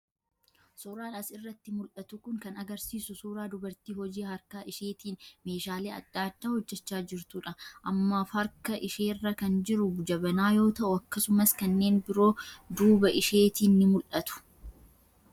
Suuraan as irratti mul'atu kun kan agarsiisu suuraa dubartii hojii harkaa isheetiin meeshaalee adda addaa hojjechaa jirtuu dha. Ammaaf harka isheerra kan jiru jabanaa yoo ta'u akkasumas kanneen biroon duuba isheetiin ni mul'atu.